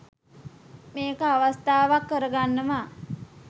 මේක අවස්ථාවක් කරගන්නවා.